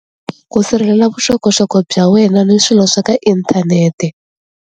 Ku sirhelela vuxokoxoko bya wena ni swilo swa ka inthanete.